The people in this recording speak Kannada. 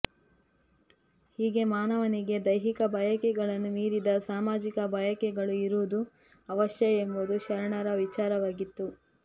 ಹೀಗೆ ಮಾನವನಿಗೆ ದೈಹಿಕ ಬಯಕೆಗಳನ್ನು ಮೀರಿದ ಸಾಮಾಜಿಕ ಬಯಕೆಗಳು ಇರುವುದು ಅವಶ್ಯ ಎಂಬುದು ಶರಣರ ವಿಚಾರವಾಗಿತ್ತು